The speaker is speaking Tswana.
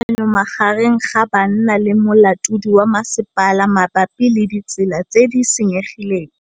Go na le thulanô magareng ga banna le molaodi wa masepala mabapi le ditsela tse di senyegileng.